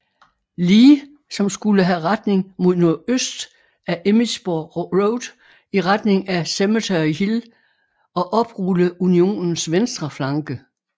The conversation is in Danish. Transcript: Lee som skulle have retning mod nordøst af Emmitsburg Road i retning af Cemetery Hill og oprulle Unionens venstre flanke